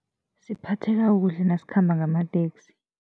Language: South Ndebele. Siphatheka kuhle nasikhamba ngamateksi.